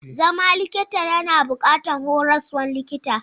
Zama likita yana buƙatar horaswan likita.